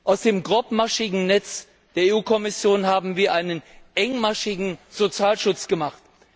Aus dem grobmaschigen Netz der Kommission haben wir einen engmaschigen Sozialschutz gemacht.